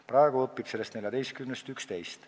Praegu õpib seal nendest 14-st 11.